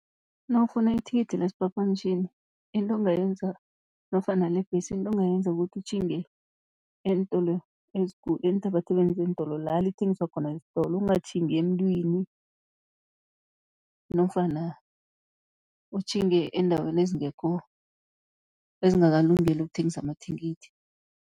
Nawufuna ithikithi lesiphaphamtjhini into ongayenza nofana lebhesi, into ongayenza kukuthi utjhinge eentolo eenthabathabeni zeentolo la lithengiswa khona esitolo. Ungatjhingi emuntwini nofana utjhinge eendaweni ezingekho, ezingakalungeli ukuthengisa amathikithi.